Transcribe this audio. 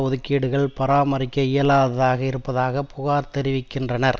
ஒதுக்கீடுகள் பராமரிக்க இயலாததாக இருப்பதாக புகார் தெரிவிக்கின்றனர்